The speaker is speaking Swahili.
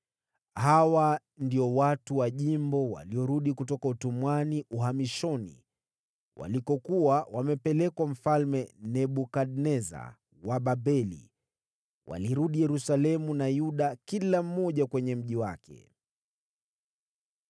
Hawa ndio watu wa jimbo waliotoka uhamishoni, ambao Nebukadneza mfalme wa Babeli alikuwa amewachukua mateka (walirudi Yerusalemu na Yuda, kila mmoja kwenye mji wake,